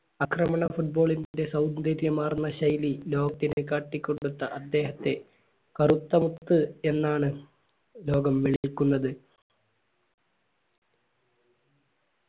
അക്രമണ football ന്റെ സൗന്ദര്യമാർന്ന ശൈലി ലോകത്തിന്റെ കാട്ടിക്കൊടുത്തത് അദ്ദേഹത്തെ കറുത്തമുത്ത് എന്നാണ് ലോകം വിളിക്കുന്നത്